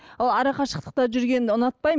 ол арақашықтықта жүргенді ұнатпаймын